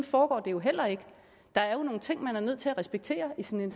foregår det jo heller ikke der er jo nogle ting man er nødt til at respektere i sådan